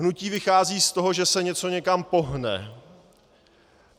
Hnutí vychází z toho, že se něco někam pohne.